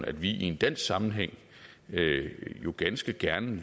at vi i en dansk sammenhæng ganske gerne